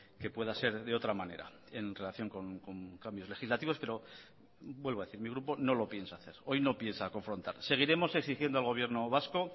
que pueda ser de otra manera en relación con cambios legislativos pero vuelvo a decir mi grupo no lo piensa hacer hoy no piensa confrontar seguiremos exigiendo al gobierno vasco